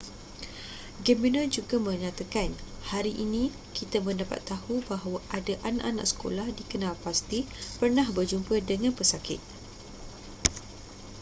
gabenor juga menyatakan hari ini kita mendapat tahu bahawa ada anak-anak sekolah dikenal pasti pernah berjumpa dengan pesakit